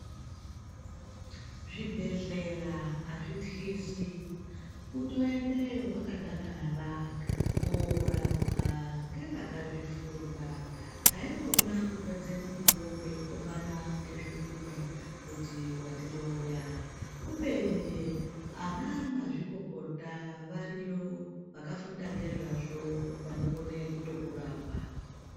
Zvibhedhlera hazvityisi kutoendeyo wakadakara kunorapiwa ngeva kazvifunda haikona kuoedze mukuwo meikombana ngezvikunwe kuti wandiroya kubeni anamazvikokota variyo kubeni ana mazvikokota variyo vakafunda ngezvazvo vanokone kukurapa.